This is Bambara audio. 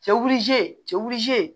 Cɛw cɛ